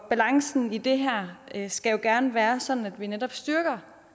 balancen i det her skal jo gerne være sådan at man netop styrker